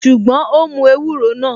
Ṣùgbọ́n, ó mú ewúro náà